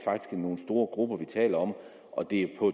nogle store grupper vi taler om og det er på